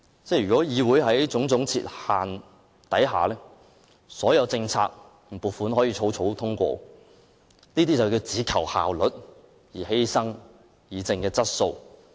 如果議會處處設限，所有政策和撥款便可草草通過，這些建議只求效率，而犧牲議政的質素。